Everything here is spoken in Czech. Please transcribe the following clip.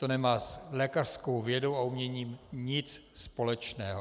To nemá s lékařskou vědou a uměním nic společného.